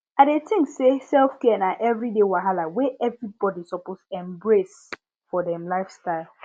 i dey tink say selfcare na everyday wahala wey everybody suppose embrace for dem lifestyle